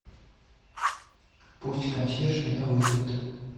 пусть консьерж меня вызовет